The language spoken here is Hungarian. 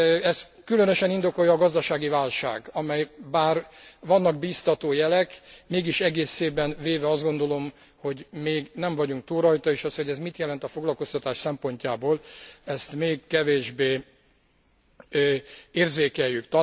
Ezt különösen indokolja a gazdasági válság, amely, bár vannak bíztató jelek, mégis egészében véve azt gondolom, hogy nem vagyunk túl rajta és az, hogy ez mit jelent a foglalkoztatás szempontjából, ezt még kevésbé érzékeljük.